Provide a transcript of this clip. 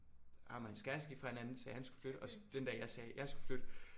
Ham og hans kæreste gik fra hinanden sagde han skulle flytte og så den dag jeg sagde jeg skulle flytte